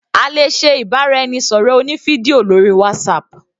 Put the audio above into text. A lè ṣe ìbáraẹnisọ̀rọ̀ oní fídíò lórí WhatsApp.